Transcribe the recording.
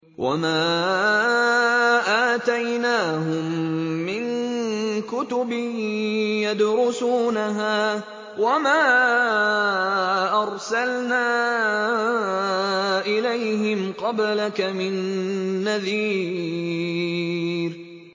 وَمَا آتَيْنَاهُم مِّن كُتُبٍ يَدْرُسُونَهَا ۖ وَمَا أَرْسَلْنَا إِلَيْهِمْ قَبْلَكَ مِن نَّذِيرٍ